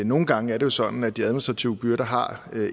nogle gange er det sådan at de administrative byrder har